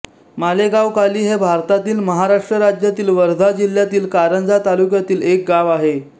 मालेगावकाली हे भारतातील महाराष्ट्र राज्यातील वर्धा जिल्ह्यातील कारंजा तालुक्यातील एक गाव आहे